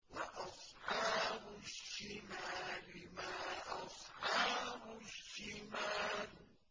وَأَصْحَابُ الشِّمَالِ مَا أَصْحَابُ الشِّمَالِ